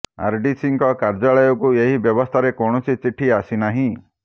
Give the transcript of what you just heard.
ଆରଡିସିଙ୍କ କାର୍ଯ୍ୟାଳୟକୁ ଏହି ବ୍ୟବସ୍ଥାରେ କୌଣସି ଚିଠି ଆସି ନାହିଁ